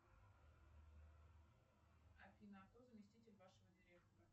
афина а кто заместитель вашего директора